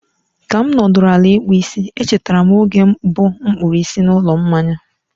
ka m nọdụrụ ala ịkpụ isi, e chetara m oge mbụ m kpụrụ isi n'ụlọ mmanya a.